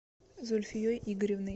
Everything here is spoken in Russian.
зульфией игоревной